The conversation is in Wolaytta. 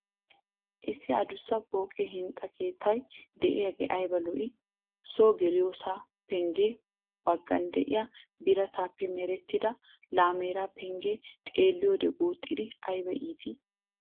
Issi adussa pooqe hinxxa keettaa de'iyagee ayba lo"ii! So geliyossa pengge baggan de'iya birataappe merettida laamera pengee xeeliyode guuxxidi ayba iittii.